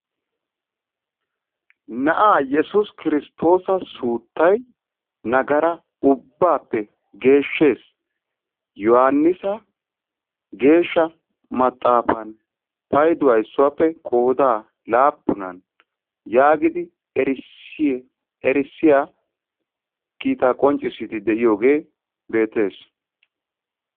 Na'a Yessuus Kiristtoosa suuttay nagaraa ubbappe geeshshees. Yohannissa geeshsha maxaafan payduwa issuwappe qooda laapunan yaagidi erissiyaa kiita qonccisiiddi de'iyooge beettees.